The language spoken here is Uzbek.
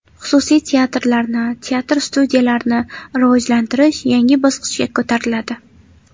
Xususiy teatrlarni, teatr-studiyalarni rivojlantirish yangi bosqichga ko‘tariladi.